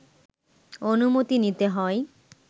অনুমতি নিতে হয়